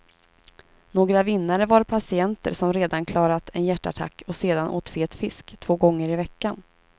Några vinnare var patienter som redan klarat en hjärtattack och sedan åt fet fisk två gånger i veckan.